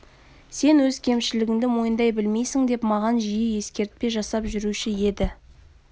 сен өз кемшілігіңді мойындай білмейсің деп маған жиі ескертпе жасап жүруші еді